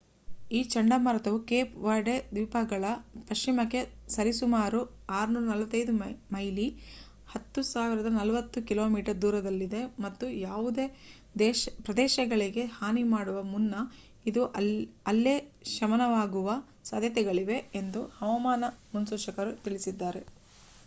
ಈ ಚಂಡಮಾರುತವು Cape Verde ದ್ವೀಪಗಳ ಪಶ್ಚಿಮಕ್ಕೆ ಸರಿಸುಮಾರು 645 ಮೈಲಿ 1040 ಕಿಮಿ ದೂರದಲ್ಲಿದೆ ಮತ್ತು ಯಾವುದೇ ಪ್ರದೇಶಗಳಿಗೆ ಹಾನಿ ಮಾಡುವ ಮುನ್ನ ಇದು ಅಲ್ಲೇ ಶಮನವಾಗುವ ಸಾದ್ಯತೆಗಳಿವೆ ಎಂದು ಹವಾಮಾನ ಮುನ್ಸೂಚಕರು ತಿಳಿಸಿದ್ದಾರೆ